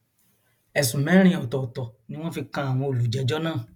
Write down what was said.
ẹsùn mẹrin ọtọọtọ ni wọn fi kan àwọn olùjẹjọ náà